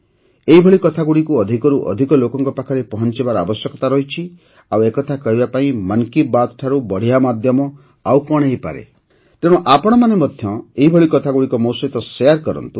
ଏହିଭଳି କଥାଗୁଡ଼ିକୁ ଅଧିକରୁ ଅଧିକ ଲୋକଙ୍କ ପାଖରେ ପହଞ୍ଚାଇବାର ଆବଶ୍ୟକତା ରହିଛି ଆଉ ଏକଥା କହିବା ପାଇଁ ମନ କି ବାତ୍ଠାରୁ ବଢ଼ିଆ ମାଧ୍ୟମ ଆଉ କଣ ହୋଇପାରେ ତେଣୁ ଆପଣମାନେ ମଧ୍ୟ ଏହିଭଳି କଥାଗୁଡ଼ିକୁ ମୋ ସହିତ ସେୟାର କରନ୍ତୁ